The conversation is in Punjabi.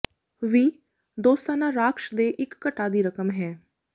ਵੀ ਦੋਸਤਾਨਾ ਰਾਖਸ਼ ਦੇ ਇੱਕ ਘਟਾ ਦੀ ਰਕਮ ਹੈ